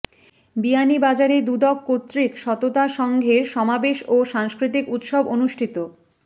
বিয়ানীবাজারে দুদক কর্তৃক সততা সংঘের সমাবেশ ও সাংস্কৃতিক উৎসব অনুষ্ঠিত